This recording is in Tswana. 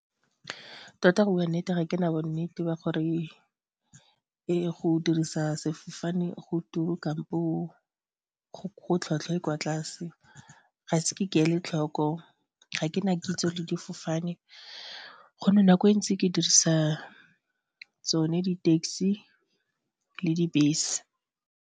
Tota go bua nnete, ga ke na bonnete ba gore go dirisa sefofane go kampo go tlhwatlhwa e kwa tlase, ga se ke ke ele tlhoko, ga ke na kitso le difofane gonne nako e ntsi ke dirisa tsone di-taxi le dibese.